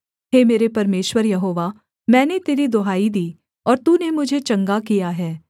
हे मेरे परमेश्वर यहोवा मैंने तेरी दुहाई दी और तूने मुझे चंगा किया है